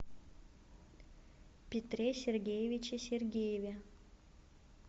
петре сергеевиче сергееве